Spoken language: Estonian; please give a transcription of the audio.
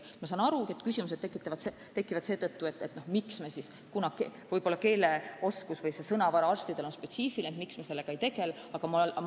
Ma saan aru, et küsimused tekivad seetõttu, et sõnavara on arstidel spetsiifiline ja selle õpetamisega võiks nagu tegelda.